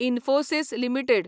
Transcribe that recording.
Infosys limited